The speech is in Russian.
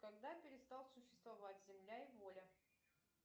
когда перестал существовать земля и воля